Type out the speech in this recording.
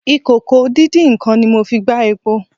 ìkòkò-díndín-nǹkan ni mo fi gbá epo.